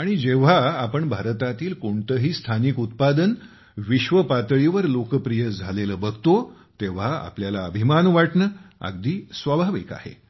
आणि जेव्हा आपण भारतातील कोणतेही स्थानिक उत्पादन विश्वपातळीवर लोकप्रिय झालेले बघतो तेव्हा आपल्याला अभिमान वाटणे अगदी स्वाभाविक आहे